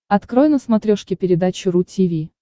открой на смотрешке передачу ру ти ви